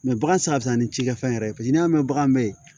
Mɛ bagan safu ni cikɛfɛn yɛrɛ paseke n'i y'a mɛn bagan bɛ yen